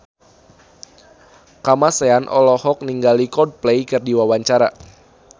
Kamasean olohok ningali Coldplay keur diwawancara